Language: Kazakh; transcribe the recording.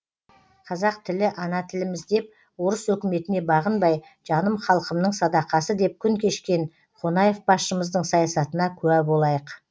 қазақ тілі ана тіліміз деп орыс өкіметіне бағынбай жаным халқымның садақасы деп күн кешкен қонаев басшымыздың саясатына куә болайық